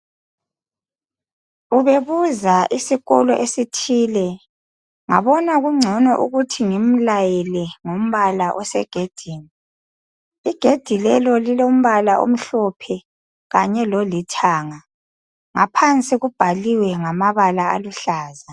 ubebuza isikolo esithile ngabona kuncono ukuthi ngimlayele ngombala osegedini igedi lelo lilombala omhlophe kanye lolithanga ngaphansi kubhaliwe ngamabala aluhlaza